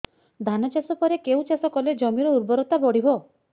ଧାନ ଚାଷ ପରେ କେଉଁ ଚାଷ କଲେ ଜମିର ଉର୍ବରତା ବଢିବ